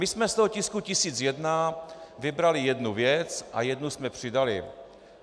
My jsme z toho tisku 1001 vybrali jednu věc a jednu jsme přidali.